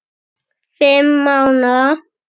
Fimm mánaða